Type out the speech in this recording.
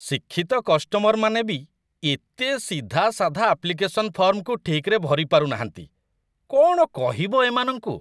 ଶିକ୍ଷିତ କଷ୍ଟମରମାନେ ବି ଏତେ ସିଧାସାଧା ଆପ୍ଲିକେସନ ଫର୍ମକୁ ଠିକ୍‌ରେ ଭରିପାରୁନାହାନ୍ତି, କ'ଣ କହିବ ଏମାନଙ୍କୁ!